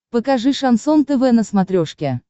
покажи шансон тв на смотрешке